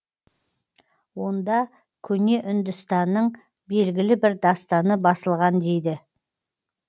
онда көне үндістанның белгілі бір дастаны басылған дейді